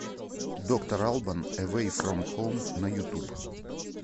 доктор албан эвэй фром хоум на ютуб